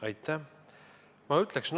Aitäh!